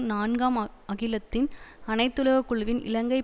நான்காம் அகிலத்தின் அனைத்துலக குழுவின் இலங்கை